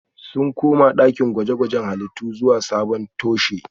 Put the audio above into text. Sun koma dakin gwaje-gwajen halittu zuwa sabon toshe